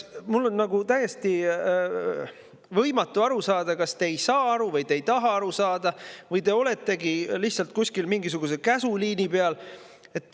Mul on nagu täiesti võimatu aru saada, kas te ei saa aru või te ei taha aru saada või te oletegi lihtsalt kuskil mingisuguse käsuliini peal.